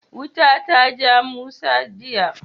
Wuta ta ja Musa jiya.